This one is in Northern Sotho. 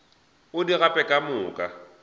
o di gape ka moka